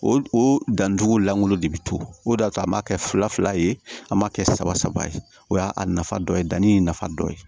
O o dantugulan lankolon de bɛ to o de y'a to an b'a kɛ fila fila ye an m'a kɛ saba saba ye o y'a a nafa dɔ ye danni nafa dɔ ye